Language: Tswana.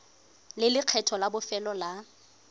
le lekgetho la bofelo la